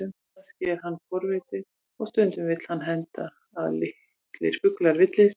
Kannski er hann forvitinn, og stundum vill það henda að litlir fuglar villist.